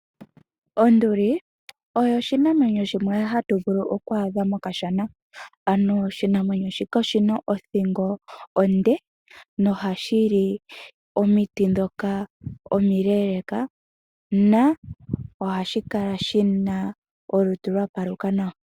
Onduli oyo oshinamwenyo shimwe ha tu vulu oku adha mokashana, ano oshinamwenyo shika oshina othingo onde noha shi li omiti ndhoka omileeleka na ohashi kala shi na olutu lwa paluka nawa.